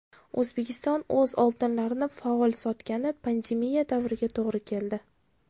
O‘zbekiston o‘z oltinlarini faol sotgani pandemiya davriga to‘g‘ri keldi.